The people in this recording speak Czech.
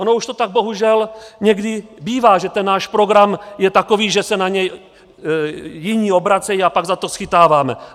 Ono už to tak bohužel někdy bývá, že ten náš program je takový, že se na něj jiní obracejí, a pak za to schytáváme.